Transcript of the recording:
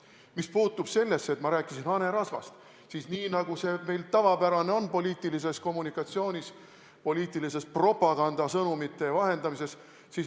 Mis puutub sellesse, et ma rääkisin hanerasvast, siis jah, selline asi on meil poliitilises kommunikatsioonis, poliitilises propagandasõnumite vahendamises tavapärane.